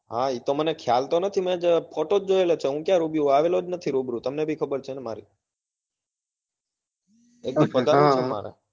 તમને હા એ તો ખ્યાલ તો નથી મેં photo જ જોયેલો છે હૂબ ક્યાં રૂબરૂ આવેલો જ નથી રૂબરૂ તમને બી ખબર છે માર